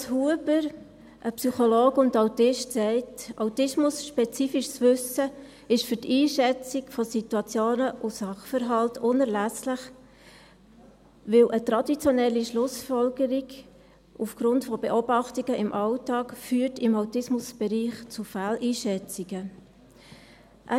Mathias Huber, ein Psychologe und Autist, sagt, autismusspezifisches Wissen ist für die Einschätzung von Situationen und Sachverhalten unerlässlich, weil eine traditionelle Schlussfolgerung aufgrund von Beobachtungen im Alltag beim Autismus zu Fehleinschätzungen führt.